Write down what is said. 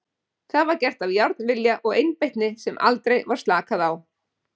Það var gert af járnvilja og einbeitni sem aldrei var slakað á.